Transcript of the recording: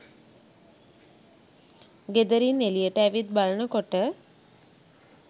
ගෙදරින් එළියට ඇවිත් බලනකොට